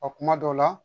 Ɔ kuma dɔw la